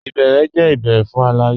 Ìbèérè jẹ̀ ìbèérè fún aláyé.